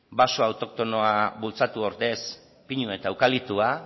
baso autoktonoa bultzatu ordez pinu eta eukaliptoa